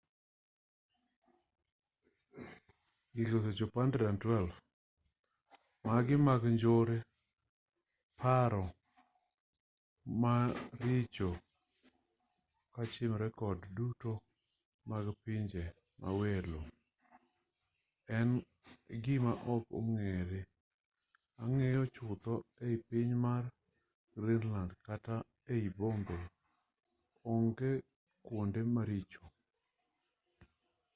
timbe mag njore kod paro maricho kochimore kod jogo duto mag pinje mawelo en gima ok ong'ere ang'eya chutho e piny mar greenland kata mana ei bombe onge kwonde maricho